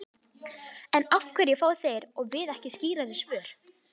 En af hverju fá þeir og við ekki skýrari svör?